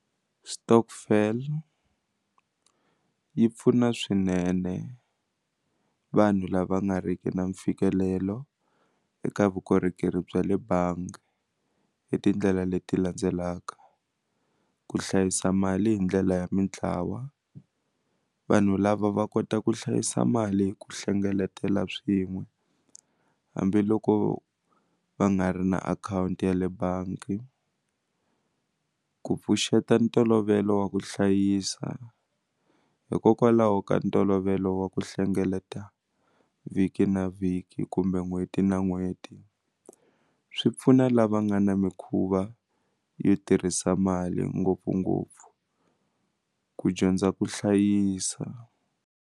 Stockvel yi pfuna swinene vanhu lava nga riki na mfikelelo eka vukorhokeri bya le bangi hi tindlela leti landzelaka, ku hlayisa mali hi ndlela ya mitlawa vanhu lava va kota ku hlayisa mali hi ku hlengeletela swin'we hambiloko va nga ri na akhawunti ya le bangi ku pfuxeta ntolovelo wa ku hlayisa hikokwalaho ka ntolovelo wa ku hlengeleta vhiki na vhiki kumbe n'hweti na n'hweti swi pfuna lava nga na mikhuva yo tirhisa mali ngopfungopfu ku dyondza ku hlayisa.